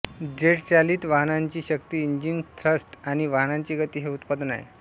जेटचालित वाहनाची शक्ती engine thrust आणि वाहनाची गती हे उत्पादन आहे